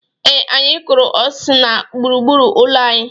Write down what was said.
Ee, anyị kụrụ osis na gburu gburu ụlọ anyị.